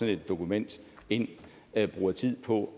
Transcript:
et dokument ind bruger tid på